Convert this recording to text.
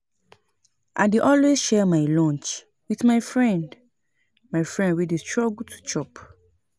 I dey always share my lunch wit my friend my friend wey dey struggle to chop.